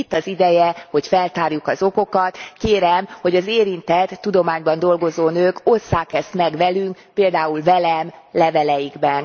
Itt az ideje, hogy feltárjuk az okokat. Kérem, hogy az érintett tudományban dolgozó nők osszák ezt meg velünk, például velem leveleikben.